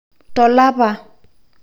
Tolapa